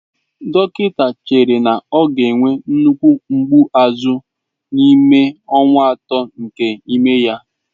Dọkịta ahụ chere na ọ ga-enwe nnukwu mgbu azụ n'ime ọnwa atọ nke ime ya.